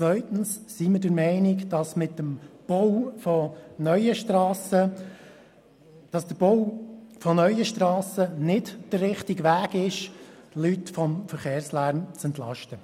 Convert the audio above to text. Zweitens sind wir der Meinung, dass der Bau von neuen Strassen nicht der richtige Weg ist, Leute vom Verkehrslärm zu entlasten.